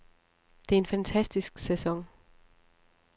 Det er en fantastisk sæson.